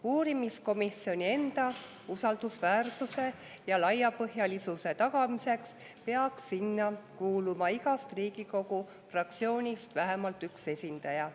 Uurimiskomisjoni enda usaldusväärsuse ja laiapõhjalisuse tagamiseks peaks sinna kuuluma igast Riigikogu fraktsioonist vähemalt üks esindaja.